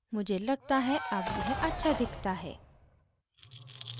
मुझे लगता है अब यह अच्छा दिखता है